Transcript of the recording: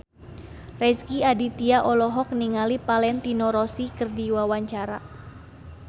Rezky Aditya olohok ningali Valentino Rossi keur diwawancara